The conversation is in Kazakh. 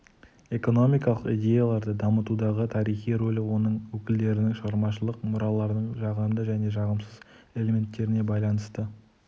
экономикалық идеяларды дамытудағы тарихи рөлі оның өкілдерінің шығармашылық мұраларының жағымды және жағымсыз элементеріне байланысты